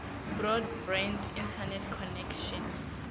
broadband internet connection